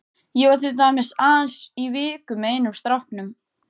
Ég var til dæmis aðeins í viku með einum stráknum.